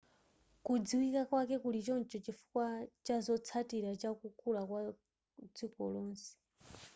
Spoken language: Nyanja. kudziwika kwake kuli choncho chifukwa chazotsatira chakukula kwa dziko lonse